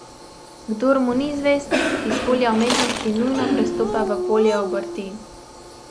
Kdor mu ni zvest, iz polja umetnosti nujno prestopa v polje obrti.